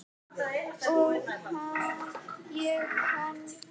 Og ég hans.